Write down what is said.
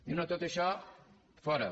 diu no tot això fora